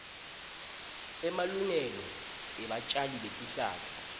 emalungelo ebatjali betihlahla